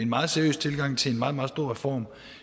meget seriøs tilgang til en meget meget stor reform